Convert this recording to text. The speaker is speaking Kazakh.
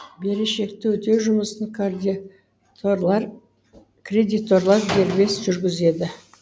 берешекті өтеу жұмысын кредиторлар дербес жүргізеді